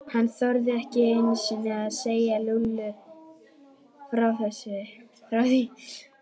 Hann þorði ekki einu sinni að segja Lúlla frá því.